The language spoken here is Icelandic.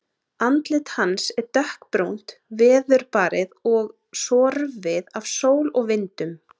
Andlit hans er dökkbrúnt, veðurbarið og sorfið af sól og vindum.